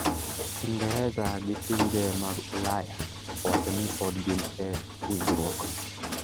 Ingereza gi pinje mag Ulaya owacho ni podi gin e injruok.